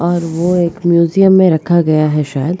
और वो एक म्युजियम में रखा गया है शायद।